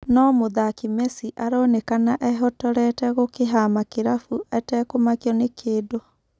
No-mũthaki Mesi aronekana ehotorete gũkĩhama kĩrabũ etekũmakio nĩ-kĩndũ.